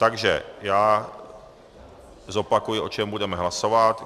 Takže já zopakuji, o čem budeme hlasovat.